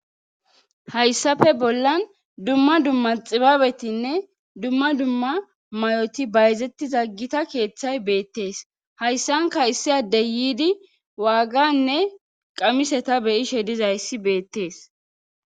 Hayssafe bollan dumma dumma xibaabetinne dumma dumma may'oti bayzettiza gita keeththay beettees hayssanka issi addey yiidi waaganne qamise ta beyishe dizayssi beettees.